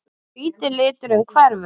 Hvíti liturinn hverfur.